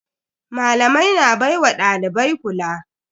Malamai na baiwa dalibai kula.